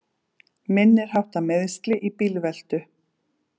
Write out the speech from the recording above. Minniháttar meiðsli í bílveltu